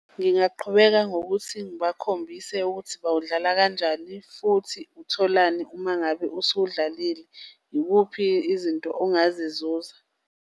Ngingaqhubeka ngokuthi ngibakhombise ukuthi bawudlala kanjani futhi utholani uma ngabe usudlalile. Ikuphi izinto ongazizuza.